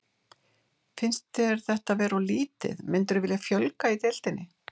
Finnst þér þetta vera of lítið, myndirðu vilja fjölga í deildinni?